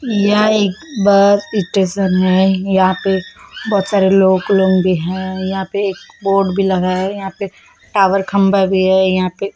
यह एक bus station है यहाँ पे बहुत सारे लोक लोग भी है यहाँ पे एक बोर्ड भी लगाया है यहाँ पे टॉवर खंभा भी है यहाँ पे --